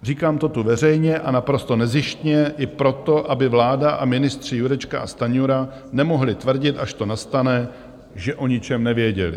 Říkám to tu veřejně a naprosto nezištně i proto, aby vláda a ministři Jurečka a Stanjura nemohli tvrdit, až to nastane, že o ničem nevěděli.